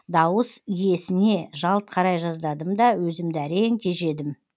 дауыс иесіне жалт қарай жаздадым да өзімді әрең тежедім